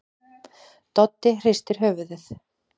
Doddi hristir höfuðið.